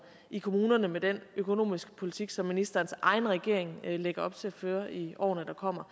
i kommunerne med den økonomiske politik som ministerens egen regering lægger op til at føre i årene der kommer